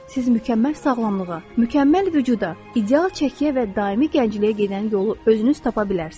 Siz mükəmməl sağlamlığa, mükəmməl vücuda, ideal çəkiyə və daimi gəncliyə gedən yolu özünüz tapa bilərsiniz.